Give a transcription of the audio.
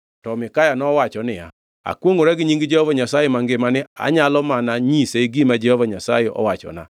To Mikaya nowacho niya, “Akwongʼora gi nying Jehova Nyasaye mangima ni, anyalo mana nyise gima Jehova Nyasaye owachona.”